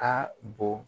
Ka bon